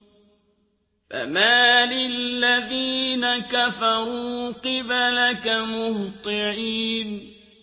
فَمَالِ الَّذِينَ كَفَرُوا قِبَلَكَ مُهْطِعِينَ